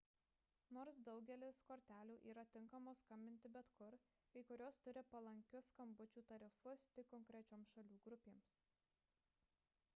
nors daugelis kortelių yra tinkamos skambinti bet kur kai kurios turi palankius skambučių tarifus tik konkrečioms šalių grupėms